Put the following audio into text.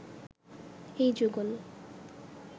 এই যুগল